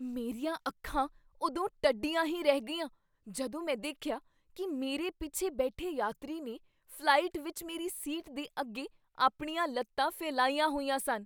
ਮੇਰੀਆਂ ਅੱਖਾਂ ਉਦੋਂ ਟੱਡੀਆਂ ਹੀ ਰਹਿ ਗਈਆਂ ਜਦੋਂ ਮੈਂ ਦੇਖਿਆ ਕੀ ਮੇਰੇ ਪਿੱਛੇ ਬੈਠੇ ਯਾਤਰੀ ਨੇ ਫ਼ਲਾਈਟ ਵਿੱਚ ਮੇਰੀ ਸੀਟ ਦੇ ਅੱਗੇ ਆਪਣੀਆਂ ਲੱਤਾਂ ਫੈਲਾਈਆਂ ਹੋਈਆਂ ਸਨ।